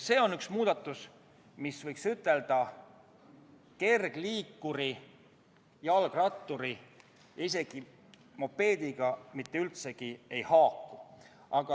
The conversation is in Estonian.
See on üks muudatus, mis, võiks ütelda, kergliikuri, jalgratta ja isegi mopeediga üldse ei haaku.